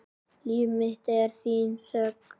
Líf mitt er þín þögn.